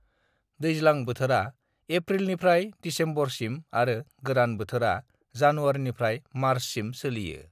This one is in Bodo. दैज्लां बोथोरा एप्रिलनिफ्राय दिसेम्बरसिम आरो गोरान बोथोरा जानुवारिनिफ्राय मार्चसिम सोलियो।